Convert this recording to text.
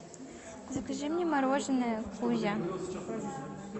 закажи мне мороженое кузя